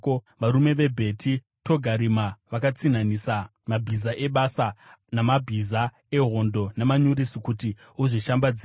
“ ‘Varume veBheti Togarima vakatsinhanisa mabhiza ebasa namabhiza ehondo namanyurusi kuti uzvishambadzire.